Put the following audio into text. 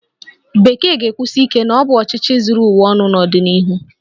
Bekee ga-ekwusi ike na ọ bụ ọchịchị zuru ụwa ọnụ n'ọdịnihu?